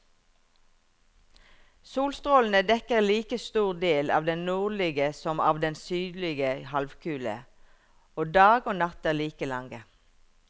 Solstrålene dekker like stor del av den nordlige som av den sydlige halvkule, og dag og natt er like lange.